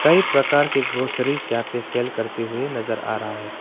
कई प्रकार के ग्रोसरी यहां सेल करते हुए नजर आ रहा है।